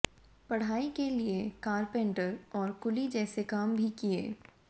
पढ़ाई के लिए कारपेंटर और कुली जैसे काम भी किए